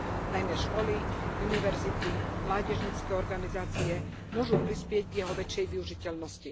Najmä školy, univerzity, mládežnícke organizácie môžu prispieť k jeho väčšej využiteľnosti.